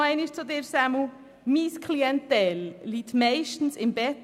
Nochmals an Grossrat Leuenberger: Meine Klientel liegt meistens im Bett.